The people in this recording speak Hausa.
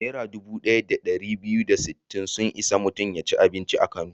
Naira dubu ɗaya da ɗari biyu da sittin sun isa mutum ya ci abinci a Kano.